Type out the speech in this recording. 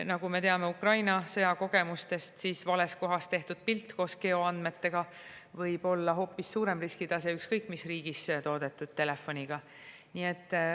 Nagu me teame Ukraina sõjakogemustest, võib vales kohas tehtud pilt koos geoandmetega olla hoopis suurem risk, ükskõik mis riigis toodetud telefoniga.